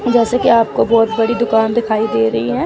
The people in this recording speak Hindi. जैसे की आप को बहोत बड़ी दुकान दिखाई दे रही है।